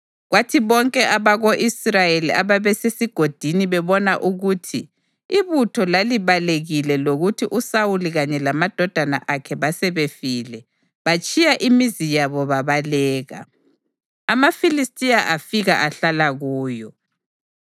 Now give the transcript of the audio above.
Kwathi bonke abako-Israyeli ababesesigodini bebona ukuthi ibutho lalibalekile lokuthi uSawuli kanye lamadodana akhe basebefile, batshiya imizi yabo babaleka. AmaFilistiya afika ahlala kuyo.